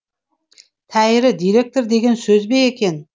тәйірі директор деген сөз бе екен